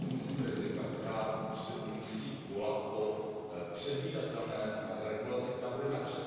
To jsou myslím rizika, která musí volat po předvídatelné regulaci, která bude napřed, ne až poté.